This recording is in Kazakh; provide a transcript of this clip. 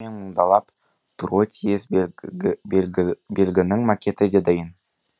менмұңдалап тұруы тиіс белгінің макеті де дайын